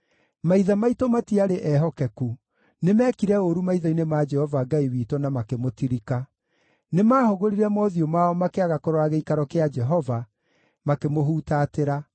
Maithe maitũ matiarĩ ehokeku; nĩmekire ũũru maitho-inĩ ma Jehova Ngai witũ na makĩmũtirika. Nĩmahũgũrire mothiũ mao makĩaga kũrora gĩikaro kĩa Jehova, makĩmũhutatĩra.